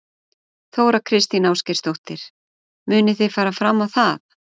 Þóra Kristín Ásgeirsdóttir: Munið þið fara fram á það?